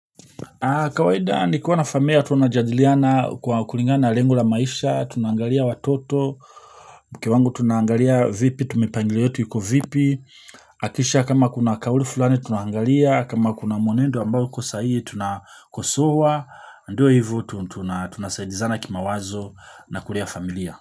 Kawaida nikiwa na familia tunajadiliana kwa kulingana na lengo la maisha, tunaangalia watoto, mke wangu tunaangalia vipi, tume mipangilio yetu iko vipi, kisha kama kuna kauli fulani tunaangalia, kama kuna mwenendo ambao uko sahii tunakosoa, ndio hivo tunasaidizana kimawazo na kulea familia.